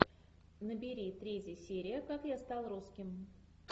набери третья серия как я стал русским